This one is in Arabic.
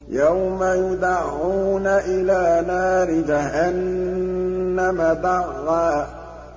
يَوْمَ يُدَعُّونَ إِلَىٰ نَارِ جَهَنَّمَ دَعًّا